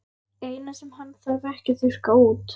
Eina sem hann þarf ekki að þurrka út.